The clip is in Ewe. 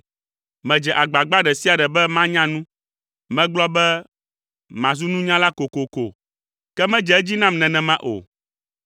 Medze agbagba ɖe sia ɖe be manya nu. Megblɔ be, “Mazu nunyala kokoko” Ke medze edzi nam nenema o.